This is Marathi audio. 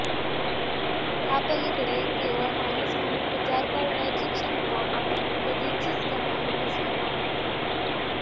त्यापलिकडे केवळ माणूस म्हणून विचार करण्याची क्षमता आपण कधीचीच गमावून बसलो आहोत